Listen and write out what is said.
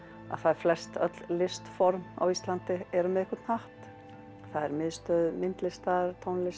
flest öll listform á Íslandi eru með einhvern hatt það er Miðstöð myndlistar tónlistar